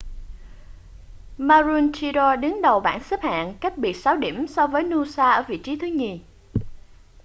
maroochydore đứng đầu bảng xếp hạng cách biệt sáu điểm so với noosa ở vị trí thứ nhì